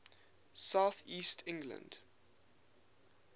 south east england